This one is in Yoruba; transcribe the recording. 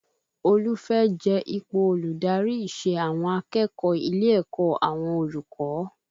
Olú fẹ́ jẹ ipò olùdarí ìṣe àwọn akẹ́kọ̀ọ́ ilé ẹ̀kọ́ àwọn olùkọ́